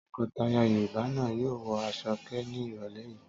Tọkọtaya Yorùbá náà yóò wọ aṣọòkè ní ìrọ́lẹ́ yìí.